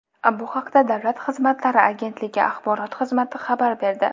Bu haqda Davlat xizmatlari agentligi axborot xizmati xabar berdi.